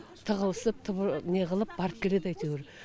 тығылысып неғылып барып келеді әйтеуір